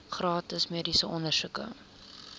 gratis mediese ondersoeke